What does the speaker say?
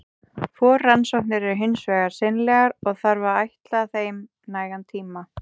Forrannsóknir eru hins vegar seinlegar, og þarf að ætla þeim nægan tíma.